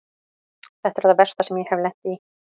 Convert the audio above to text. Þetta er það versta sem ég hef lent í.